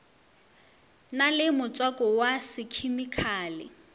na le motswako wa sekhemikhale